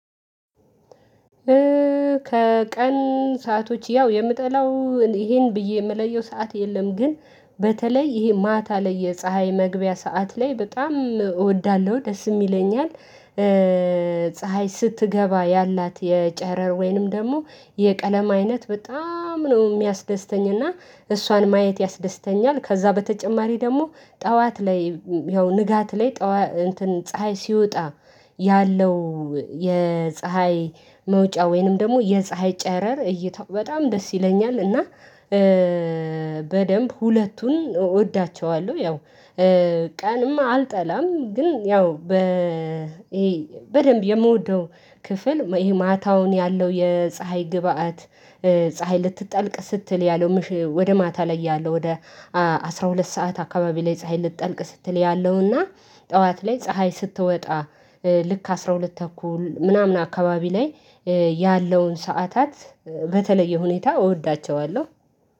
ከቀን ሰአቶች ያው የምጠላው ይሄን ብዬ ምለየው ሰዓት የለም ግን በተለይ ይሄ ማታ ላይ የፀሀይ መግቢያ ሰዓት ላይ በጣም እወዳለሁ ደስም ይለኛል። ፀሀይ ስትገባ ያላት የጨረር ወይንም ደግሞ የቀለም አይነት በጣም ነው ሚያስደስተኝ እና እሷን ማየት ያስደስተኛል። ከዛ በተጨማሪ ደሞ ጠዋት ላይ ያው ንጋት ላይ ፀሀይ ሲወጣ ያለው የፀሀይ መውጫ ወይንም ደሞ የፀሀይ ጨረር እይታው በጣም ደስ ይለኛል። እና በደንብ ሁለቱን እወዳቸዋለው። ያው ቀንም አልጠላም። ግን ያው በ በደንብ የምወደው ክፍል ይሄ ማታውን ያለው የፀሀይ ግብአት ፀሀይ ልትጠልቅ ስትል ያለው ወደ ማታ ላይ ያለው ወደ አስራ ሁለት ሰዓት አካባቢ ላይ ፀሀይ ልጠልቅ ስትል ያለውና ጠዋት ላይ ፀሀይ ስትወጣ ልክ አስራ ሁለት ተኩል ምናምን አካባቢ ላይ ያለውን ሰዓታት በተለየ ሁኔታ እወዳቸዋለው።